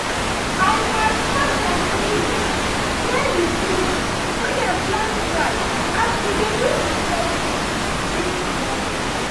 i match match some puddles near the field wey them plant rice as we dey do inspection this morning